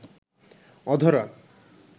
অধরা